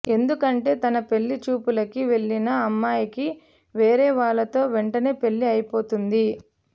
ఎందుకంటే తన పెళ్లి చూపులకి వెళ్ళిన అమ్మాయికి వేరే వాళ్లతో వెంటనే పెళ్లి అయిపోతుంది